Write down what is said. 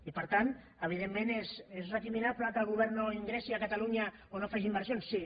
i per tant evidentment és recriminable que el govern no ingressi a catalunya o no hi faci inversions sí